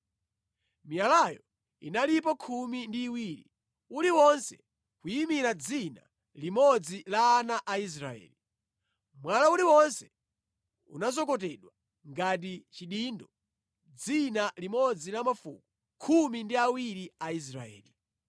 Miyalayo inalipo khumi ndi iwiri, uliwonse kuyimira dzina limodzi la ana a Israeli. Mwala uliwonse unazokotedwa ngati chidindo dzina limodzi la mafuko khumi ndi awiri a Israeli.